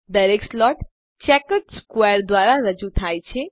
દરેક slot checkered square દ્વારા રજૂ થાય છે